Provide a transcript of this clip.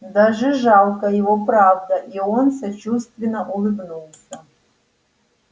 даже жалко его правда и он сочувственно улыбнулся